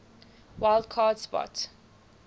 wild card spot